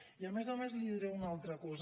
i a més a més li diré una altra cosa